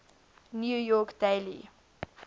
new york daily